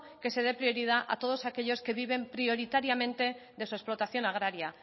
que se dé prioridad a todos aquellos que viven prioritariamente de su explotación agraria